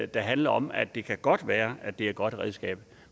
der handler om at det godt kan være at det er et godt redskab